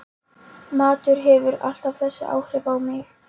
Matur hefur alltaf þessi áhrif á mig